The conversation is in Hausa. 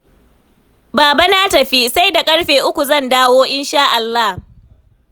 Baba na tafi, sai da ƙarfe uku zan dawo, insha'Allah